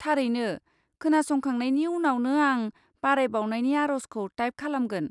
थारैनो, खोनासंखांनायनि उनावनो आं बारायबावनायनि आरजखौ टाइप खालामगोन।